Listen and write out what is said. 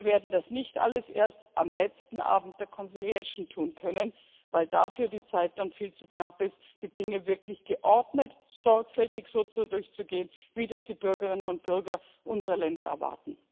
Wir werden das nicht alles erst am letzten Abend des Vermittlungsverfahrens tun können, weil die Zeit dann viel zu knapp ist, um die Dinge wirklich geordnet und sorgfältig so durchzugehen, wie das die Bürgerinnen und Bürger unserer Länder erwarten.